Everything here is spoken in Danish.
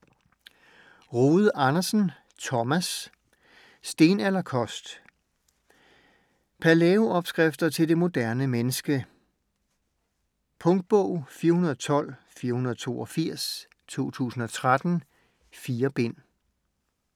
Rode Andersen, Thomas: Stenalderkost Palæo-opskrifter til det moderne menneske. Punktbog 412482 2013. 4 bind.